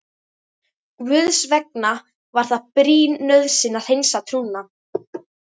Guðs vegna var það brýn nauðsyn að hreinsa trúna.